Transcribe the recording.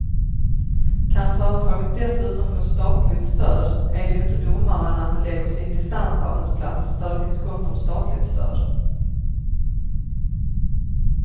Kan företaget dessutom få statligt stöd är det ju inte dummare än att det lägger sin distansarbetsplats där det finns gott om statligt stöd.